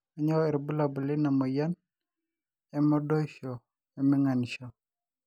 kanyio irbulabul leina moyian emodoisho we minganisho